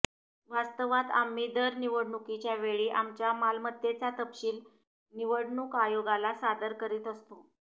वास्तवात आम्ही दर निवडणुकीच्या वेळी आमच्या मालमत्तेचा तपशील निवडणूक आयोगाला सादर करीत असतो